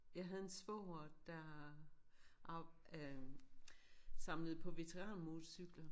Jeg havde en svoger der øh samlede på veteranmotorcykler